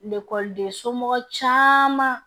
Ekɔliden somɔgɔw caman